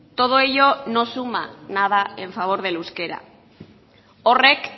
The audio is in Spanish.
todo ello no suma nada en favor del euskera horrek